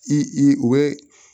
I i u bɛ